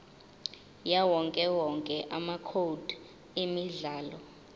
yawowonke amacode emidlalo